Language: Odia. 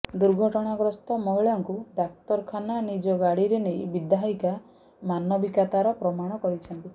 ଦୁର୍ଘଟଣାଗ୍ରସ୍ତ ମହିଳାଙ୍କୁ ଡାକ୍ତରଖାନା ନିଜ ଗାଡ଼ିରେ ନେଇ ବିଧାୟିକା ମାନବିକତାର ପ୍ରମାଣ କରିଛନ୍ତି